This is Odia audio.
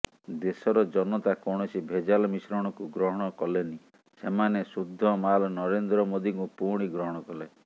ଦେଶର ଜନତା କୌଣସି ଭେଜାଲ ମିଶ୍ରଣକୁ ଗ୍ରହଣ କଲେନି ସେମାନେ ଶୁଦ୍ଧମାଲ୍ ନରେନ୍ଦ୍ର ମୋଦିଙ୍କୁ ପୁଣି ଗ୍ରହଣ କଲେ